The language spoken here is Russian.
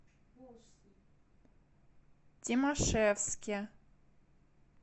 тимашевске